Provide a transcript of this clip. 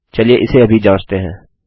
चलिए इसे अभी जाँचते हैं